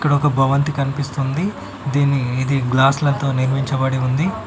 ఒక భవంతి కన్పిస్తుంది దీన్ని ఇది గ్లాస్ లతో నిర్మించబడి ఉంది.